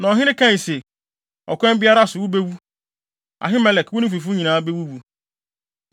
Na ɔhene kae se, “Ɔkwan biara so, wubewu. Ahimelek, wo ne wo fifo nyinaa bewuwu.”